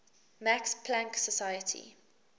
max planck society